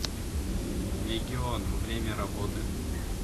легион время работы